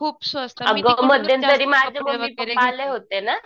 खूप स्वस्त मी तिकडूनच जास्त